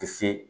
Ti se